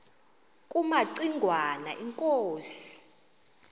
kumaci ngwana inkosi